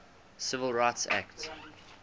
civil rights act